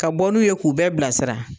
Ka bɔ n'u ye k'u bɛɛ bilasira